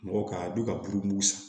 Mɔgɔ ka don ka buru san